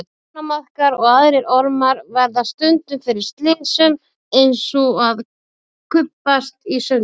Ánamaðkar og aðrir ormar verða stundum fyrir slysum eins og að kubbast í sundur.